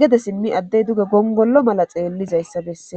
gede simmi addey duge gongollo mala xeellizayssa besse